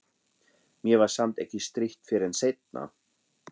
Mér var samt ekki strítt fyrr en seinna.